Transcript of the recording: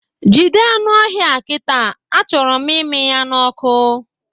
Jide anụ ọhịa a kịta! Achọrọ m ịmị ya n'ọkụ